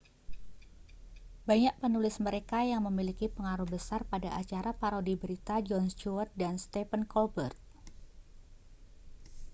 banyak penulis mereka yang memiliki pengaruh besar pada acara parodi berita jon stewart dan stephen colbert